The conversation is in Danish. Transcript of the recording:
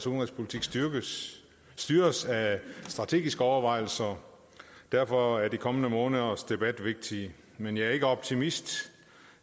udenrigspolitik styres af strategiske overvejelser derfor er de kommende måneders debat vigtig men jeg er ikke optimist